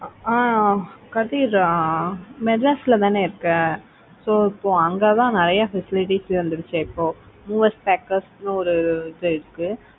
ஆஹ் கதிர் மெட்ராஸ்ல தானே இருக்க so இப்போ அங்க தான் நிறைய facilities வந்துருச்சு இப்போ movers packers ன்னு ஒரு இது இருக்கு.